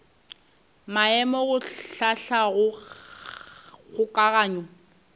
maemo go hlahla go kgokaganya